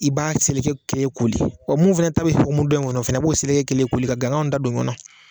I b'a seleke kelen koli. mun fɛnɛ ta bɛ hokumu dɔ in ŋɔnɔ o fɛnɛ b'o seleke kelen koli ka ganganw da don ɲɔɔn nɔ.